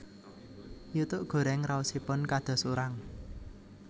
Yutuk gorèng raosipun kados urang